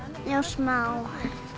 já smá